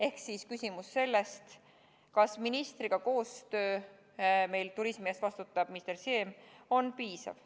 Ehk küsimus on selle kohta, kas koostöö ministriga – turismi eest vastutab meil minister Siem – on piisav.